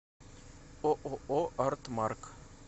ооо артмарк